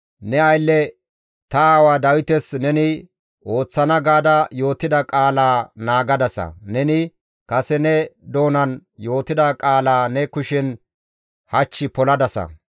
Ne aylle ta aawa Dawites neni ooththana gaada yootida qaalaa naagadasa; neni kase ne doonan yootida qaalaa ne kushen hach poladasa.